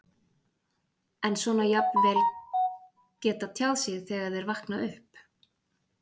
En svona jafnvel geta tjáð sig þegar þeir vakna upp?